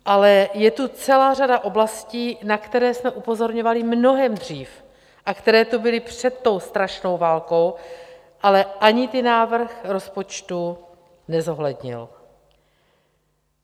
Ale je tu celá řada oblastí, na které jsme upozorňovali mnohem dřív a které tu byly před tou strašnou válkou, ale ani ty návrh rozpočtu nezohlednil.